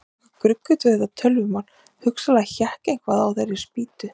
Það var eitthvað gruggugt við þetta tölvumál, hugsanlega hékk eitthvað á þeirri spýtu.